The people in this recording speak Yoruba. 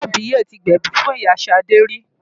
Ìyá àbíyè ti gbẹ̀bi fún ìyá Ṣadé rí.